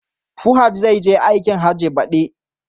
Fuhad zai je aikin Hajji, baɗi